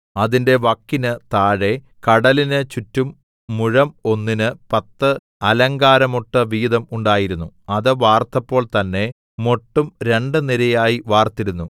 അതിന്റെ വക്കിന് താഴെ കടലിന് ചുറ്റും മുഴം ഒന്നിന് പത്ത് അലങ്കാരമൊട്ട് വീതം ഉണ്ടായിരുന്നു അത് വാർത്തപ്പോൾ തന്നെ മൊട്ടും രണ്ട് നിരയായി വാർത്തിരുന്നു